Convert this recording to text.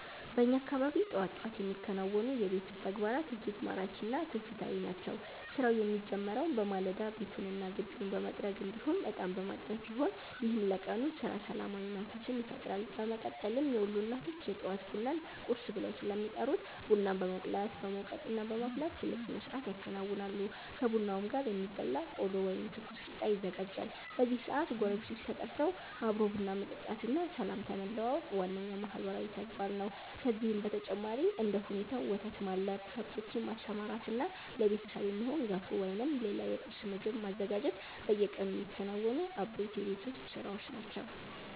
በእኛ አካባቢ ጠዋት ጠዋት የሚከናወኑ የቤት ውስጥ ተግባራት እጅግ ማራኪ እና ትውፊታዊ ናቸው። ስራው የሚጀምረው በማለዳ ቤቱንና ግቢውን በመጥረግ እንዲሁም እጣን በማጠን ሲሆን፣ ይህም ለቀኑ ስራ ሰላማዊ መንፈስን ይፈጥራል። በመቀጠልም የወሎ እናቶች የጠዋት ቡናን 'ቁርስ' ብለው ስለሚጠሩት ቡና በመቁላት፣ በመውቀጥና በማፍላት ትልቅ ስነስርዓት ያከናውናሉ። ከቡናውም ጋር የሚበላ ቆሎ ወይም ትኩስ ቂጣ ይዘጋጃል። በዚህ ሰዓት ጎረቤቶች ተጠርተው አብሮ ቡና መጠጣትና ሰላምታ መለዋወጥ ዋነኛው ማህበራዊ ተግባር ነው። ከዚህም በተጨማሪ እንደ ሁኔታው ወተት ማለብ፣ ከብቶችን ማሰማራትና ለቤተሰብ የሚሆን ገንፎ ወይም ሌላ የቁርስ ምግብ ማዘጋጀት በየቀኑ የሚከናወኑ አበይት የቤት ውስጥ ስራዎች ናቸው።